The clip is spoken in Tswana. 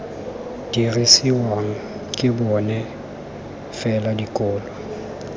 dirisiwang ke bona fela dikolo